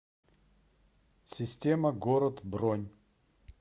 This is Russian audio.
система город бронь